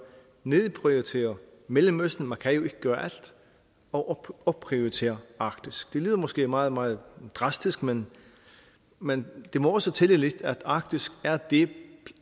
nedprioritere mellemøsten man kan jo ikke gøre alt og opprioritere arktis det lyder måske meget meget drastisk men men det må også tælle lidt at arktis er det